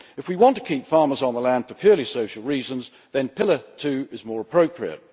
If we want to keep farmers on the land for purely social reasons, then Pillar 2 is more appropriate.